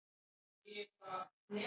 Engan sé ég þess stað.